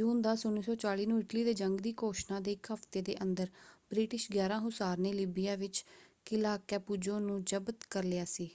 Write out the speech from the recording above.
ਜੂਨ 10 1940 ਨੂੰ ਇਟਲੀ ਦੇ ਜੰਗ ਦੀ ਘੋਸ਼ਣਾ ਦੇ ਇਕ ਹਫਤੇ ਦੇ ਅੰਦਰ ਬ੍ਰਿਟਿਸ਼ 11 ਹੁਸਾਰ ਨੇ ਲੀਬੀਆ ਵਿੱਚ ਕਿਲ੍ਹਾ ਕੈਪੁਜ਼ੋ ਨੂੰ ਜ਼ਬਤ ਕਰ ਲਿਆ ਸੀ।